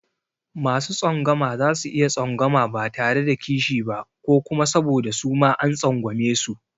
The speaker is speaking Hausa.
Masu tsangwama za su iya tsangwama ba tare da kishi ba ko kuma saboda suma an tsangwamesu.